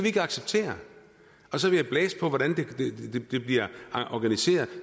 ikke acceptere og så vil jeg blæse på hvordan det bliver organiseret